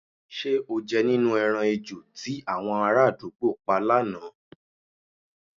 S̩e o je̩ nínú e̩ran ejò tí àwo̩n aráàdúgbò pa lánàá?